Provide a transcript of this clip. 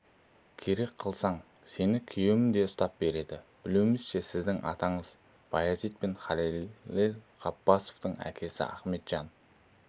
керек қылсаң сені күйеуім де ұстап береді білуімізше сіздің атаңыз баязит пен халел ғаббасовтың әкесі ахметжан